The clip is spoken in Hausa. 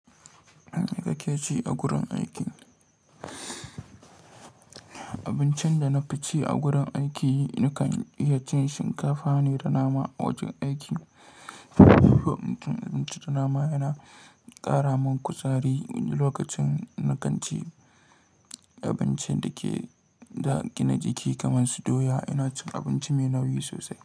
Abin da kake ci a gurin aiki? Abincin da na fi ci a gurin aiki, nakan iya cin shinkafa ne da nama a wajen aiki. Abinci da nama yana ƙara min kuzari wani lokacin nakanci. Abincin da ke da gina jiki kamar su doya, ina cin abinci mai nauyi sosai.